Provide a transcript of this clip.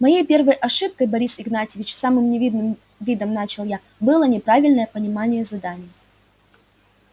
моей первой ошибкой борис игнатьевич с самым невинным видом начал я было неправильное понимание задания